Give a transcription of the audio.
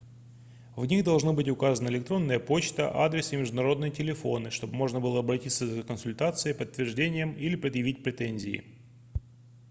в них должны быть указаны электронная почта адрес и международные телефоны чтобы можно было обратиться за консультацией подтверждением или предъявить претензии